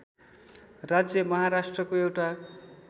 राज्य महाराष्ट्रको एउटा